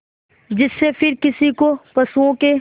जिससे फिर किसी को पशुओं के